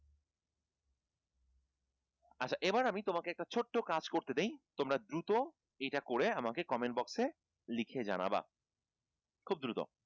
আচ্ছা এইবার আমি তোমাকে একটা ছোট্ট কাজ করতে দেই তোমরা দ্রুত এটা করে আমাকে comment box এ লিখে জানাব খুব দ্রুত